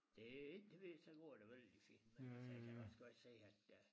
Det heldigvis så går det vældig fint men altså jeg kan da også godt se at øh